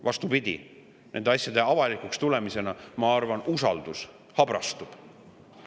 Vastupidi, nende asjade avalikuks tulemisega, ma arvan, usaldus habrastub.